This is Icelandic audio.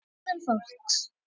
HEGÐUN FÓLKS